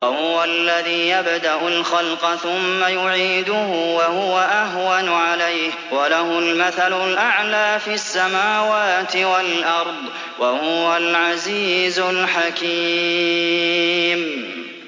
وَهُوَ الَّذِي يَبْدَأُ الْخَلْقَ ثُمَّ يُعِيدُهُ وَهُوَ أَهْوَنُ عَلَيْهِ ۚ وَلَهُ الْمَثَلُ الْأَعْلَىٰ فِي السَّمَاوَاتِ وَالْأَرْضِ ۚ وَهُوَ الْعَزِيزُ الْحَكِيمُ